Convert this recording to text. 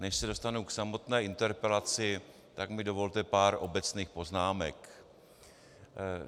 Než se dostanu k samotné interpelaci, tak mi dovolte pár obecných poznámek.